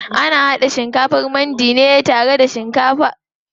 Ana haɗa shikafar mandi ne tare da kaji ko nama.